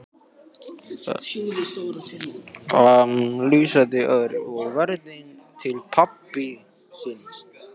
flissaði Örn og veifaði til pabba síns.